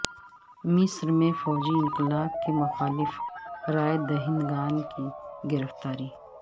مصر میں فوجی انقلاب کے مخالف رائے دہندگان کی گرفتاری